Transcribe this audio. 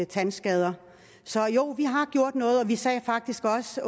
tandskader så jo vi har gjort noget og vi sagde faktisk også